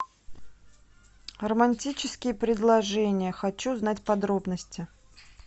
романтические предложения хочу знать подробности